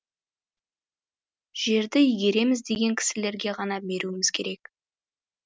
жерді игереміз деген кісілерге ғана беруіміз керек